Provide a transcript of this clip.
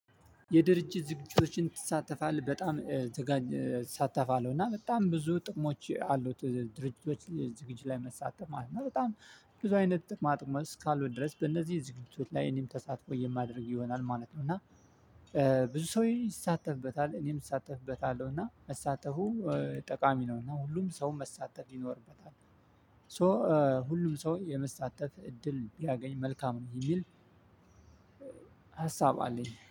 የድርጅት ዝግጅቶችን ትሳተፋለህ? በጣም ትጋኝ እሳታፋለው እና በጣም ብዙ ጥቅሞች አሉት ድርጅቶች ዝግጅ ላይ መሳተፍ ማለት ነው በጣም ብዙ አይነት ጥቅማ ጥቅም እስካለው ድረስ በእነዚህ ዝግጅቶች ላይ እኔም ተሳትፎ የማደርግ ይሆናል ማለት ነው። እና ብዙ ሰው ይሳተፍበታል እኔም እሳተፍበታለሁ እና መሳተፉ ጠቃሚ ነው እና ሁሉም ሰው መሳተፍ ይኖርበታል ሶ ሁሉም ሰው የመሳተፍ እድል ቢያገኝ መልካም ነው የሚል ሀሳብ አለኝ